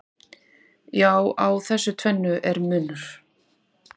Já, á þessu tvennu er munur.